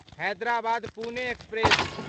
Hyderabad Pune express